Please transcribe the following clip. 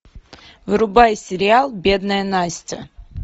врубай сериал бедная настя